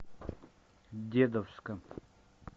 дедовска